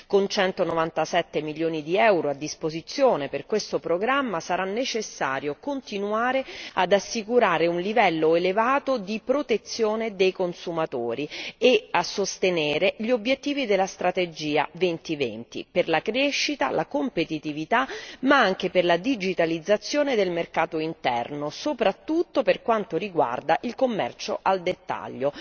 Con centonovantasette milioni di euro a disposizione per questo programma, sarà necessario continuare ad assicurare un livello elevato di protezione dei consumatori e a sostenere gli obiettivi della strategia Europa 2020 per la crescita, la competitività ma anche per la digitalizzazione del mercato interno, soprattutto per quanto riguarda il commercio al dettaglio.